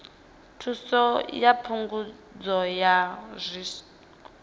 thuso ya phungudzo ya tsiku